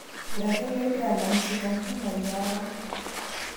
Iratiot lempira alamisi; Kandima, Liaram